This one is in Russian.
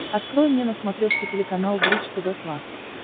открой мне на смотрешке телеканал бридж тв классик